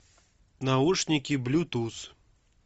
наушники блютуз